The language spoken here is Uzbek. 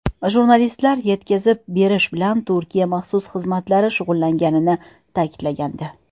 Jurnalistlar yetkazib berish bilan Turkiya maxsus xizmatlari shug‘ullanganini ta’kidlagandi.